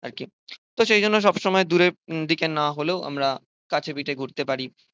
আর কি। তো সেই জন্য সব সময় দূরের দিকে না হলেও আমরা কাছে পিঠে ঘুরতে পারি